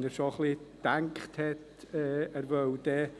Wenn er sich schon ein wenig Gedanken über ein